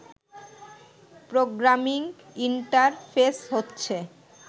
programming interface হচ্ছে